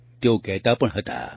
તેઓ કહેતા પણ હતા